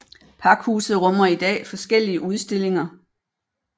Pakhuset rummer i dag forskellige udstillinger